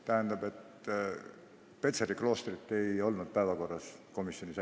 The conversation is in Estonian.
Tähendab, Petseri kloostrit komisjoni päevakorras ei olnud.